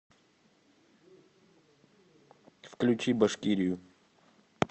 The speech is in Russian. включи башкирию